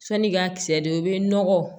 San'i ka kisɛ don i bɛ nɔgɔ